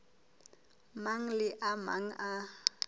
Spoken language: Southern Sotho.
mang le a mang a